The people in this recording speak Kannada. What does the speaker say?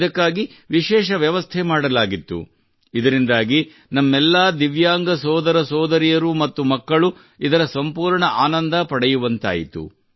ಇದಕ್ಕಾಗಿ ವಿಶೇಷ ವ್ಯವಸ್ಥೆ ಮಾಡಲಾಗಿತ್ತು ಇದರಿಂದಾಗಿ ನಮ್ಮೆಲ್ಲಾ ದಿವ್ಯಾಂಗ ಸೋದರ ಸೋದರಿಯರು ಮತ್ತು ಮಕ್ಕಳು ಇದರ ಸಂಪೂರ್ಣ ಆನಂದ ಪಡೆಯುವಂತಾಯಿತು